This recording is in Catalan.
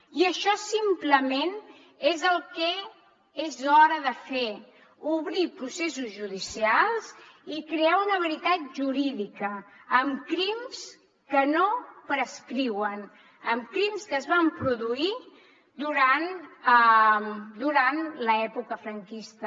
i això simplement és el que és hora de fer obrir processos judicials i crear una veritat jurídica amb crims que no prescriuen amb crims que es van produir durant l’època franquista